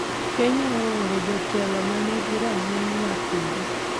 Kenya ooro jotelo ma nigi rang’iny ma piny